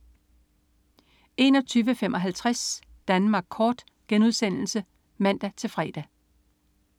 21.55 Danmark kort* (man-fre)